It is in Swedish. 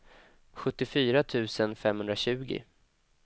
sjuttiofyra tusen femhundratjugo